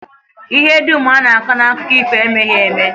Ihe dum a na-akọ n'akụkọ ifo emeghị eme